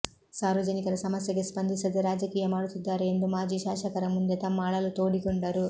ಸಾರ್ವಜನಿಕರ ಸಮಸ್ಯೆಗೆ ಸ್ಪಂದಿಸದೆ ರಾಜಕೀಯ ಮಾಡುತ್ತಿದ್ದಾರೆ ಎಂದು ಮಾಜಿ ಶಾಸಕರ ಮುಂದೆ ತಮ್ಮ ಅಳಲು ತೋಡಿಕೊಂಡರು